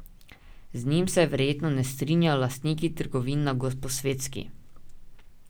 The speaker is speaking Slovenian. Z njimi se verjetno ne strinjajo lastniki trgovin na Gosposvetski.